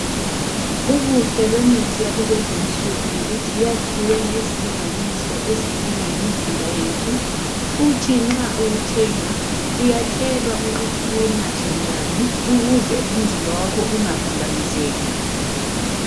Ubuhle bemithi yakulezinsuku yikuthi yakhiwe ngezilinganiso ezidingwa yimizimba yethu. Futhi nxa uwuthenga uyatshelwa ukuthi uwunathe njani ukuze umzimba wakho ungaphambaniseki.